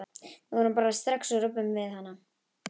Við förum bara strax og röbbum við hann.